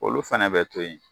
Olu fɛnɛ be to yen